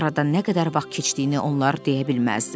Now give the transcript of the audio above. Aradan nə qədər vaxt keçdiyini onlar deyə bilməzdilər.